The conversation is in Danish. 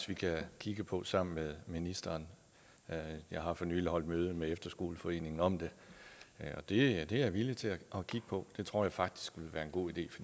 vi kan kigge på sammen med ministeren jeg jeg har for nylig holdt møde med efterskoleforeningen om det det er jeg villig til at kigge på det tror jeg faktisk ville være en god idé